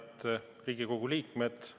Head Riigikogu liikmed!